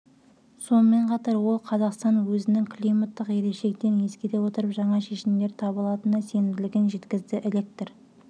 сонымен қатар ол қазақстан өзінің климаттық ерекшеліктерін ескере отырып жаңа шешімдер таба алатынына сенімділігін жеткізді электр